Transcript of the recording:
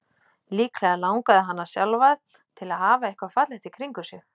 Líklega langaði hana sjálfa til að hafa eitthvað fallegt í kringum sig.